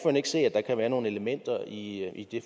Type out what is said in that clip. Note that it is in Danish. ikke se at der kan være nogle elementer i